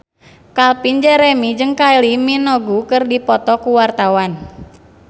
Calvin Jeremy jeung Kylie Minogue keur dipoto ku wartawan